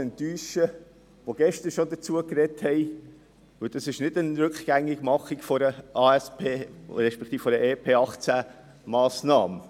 Denn es ist kein Rückgängigmachen einer Massnahme aus der Angebots- und Strukturüberprüfung (ASP), respektive einer EP-2018-Massnahme.